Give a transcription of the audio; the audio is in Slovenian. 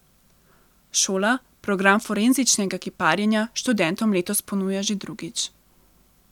Šola program forenzičnega kiparjenja študentom letos ponuja že drugič.